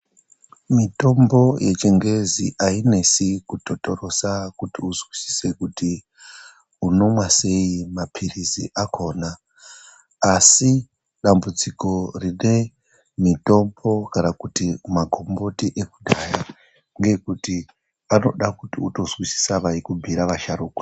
Mitombo yechingezi ainesi kutotorosa kuti uzwisise kuti unomwa seyi mapirizi akhona. Asi dambudziko rine mitombo kana kuti magomboti ekudhaya, ngeekuti panoda kuti utozwisisa vaikubhiira vasharukwa.